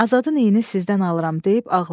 Azadın əyini sizdən alıram deyib ağladı.